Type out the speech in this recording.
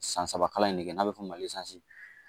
San saba kalan in ne bɛ fɔ